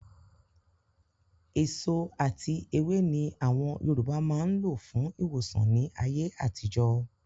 Èso ati èwe ni àwọn Yorùbá máa ń lò fún ìwòsàn ni ayé àtijọ́